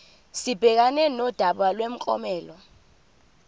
sibhekane nodaba lomklomelo